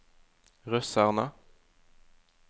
russerne